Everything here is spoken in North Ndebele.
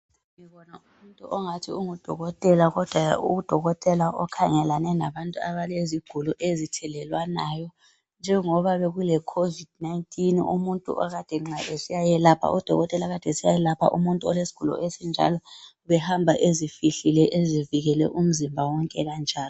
Ngibona umuntu ongathi ungudokotela, kodwa udokotela okhangelane nabantu abalezigulo ezithelelwanayo. Njengoba bekule covid 19, umuntu okade nxa esiyayelapha, udokotela okade esiyayelapha, umuntu olesigulo esinjalo, ubehamba ezifihlile, ezivikele umzimba wonke kanjalo.